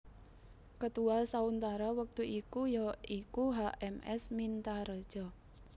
Ketua sauntara wektu iku ya iku H M S Mintaredja